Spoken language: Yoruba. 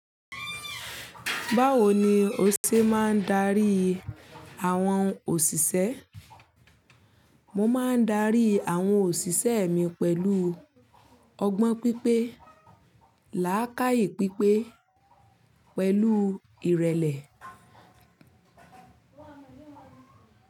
Báwo ni o ṣe máa ń darí àwọn òṣìṣẹ́? Mo máa ń darí àwọn òṣìṣẹ́ mi pẹ̀lú ọgbọ́n pípé, làákàyè pípé, pẹ̀lú ìrẹ̀lẹ̀.